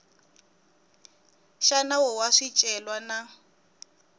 xa nawu wa swicelwa na